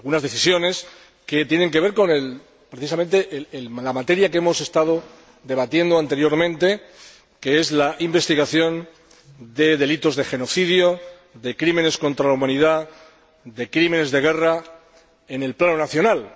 tienen que ver, precisamente, con la materia que hemos estado debatiendo anteriormente, que es la investigación de delitos de genocidio, de crímenes contra la humanidad, de crímenes de guerra, en el plano nacional.